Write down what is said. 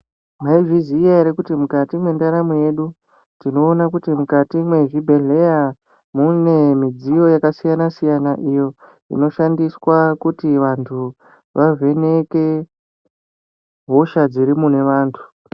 Mwaizviziya ere kuti mukati mwendaramo yedu, tinoona kuti mukati mwezvibhendleya mune midziyo yakasiyana siyana iyo inoshandiswa kuti vantu vavheneke hosha dziri mune vantu.